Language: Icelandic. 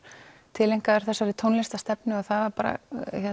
tileinkaður þessari tónlistarstefnu og það var bara